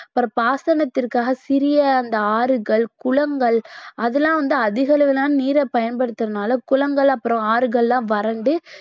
அப்புறம் பாசனத்திற்காக சிறிய அந்த ஆறுகள், குளங்கள் அதெல்லாம் வந்து அதிக அளவிலான நீரை பயன்படுத்துறதுனால குளங்கள் அப்புறம் ஆறுகள் எல்லாம் வறண்டு